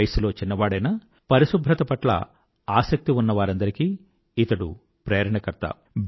వయసులో చిన్నవాడైనా పరిశుభ్రత పట్ల ఆసక్తి ఉన్న వారందరికీ ఇతడు ప్రేరణకర్త